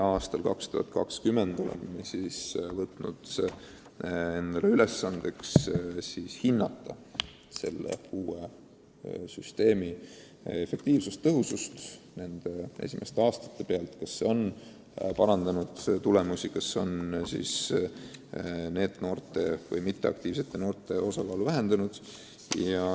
Aastaks 2020 oleme seadnud endale ülesande hinnata nende esimeste aastate alusel uue süsteemi efektiivsust: kas see on tulemusi parandanud, kas passiivsete noorte osakaal on vähenenud.